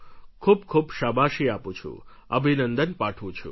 ખૂબ ખૂબ શાબાશી આપું છું અભિનંદન પાઠવું છું